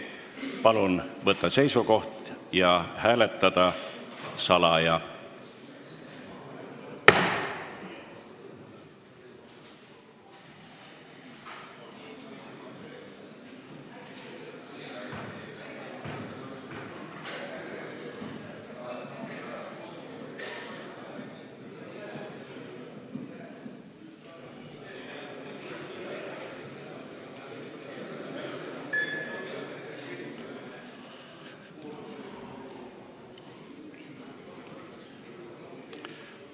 Palun võtta seisukoht ja hääletada salaja!